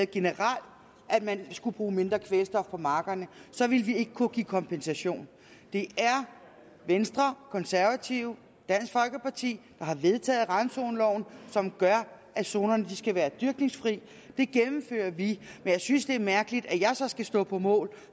generelt at man skulle bruge mindre kvælstof på markerne så ville vi ikke kunne give kompensation det er venstre konservative og dansk folkeparti der har vedtaget randzoneloven som gør at zonerne skal være dyrkningsfri det gennemfører vi men jeg synes det er mærkeligt at jeg så skal stå på mål